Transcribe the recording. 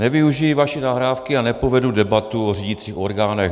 Nevyužiji vaší nahrávky a nepovedu debatu o řídících orgánech.